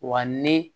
Wa ni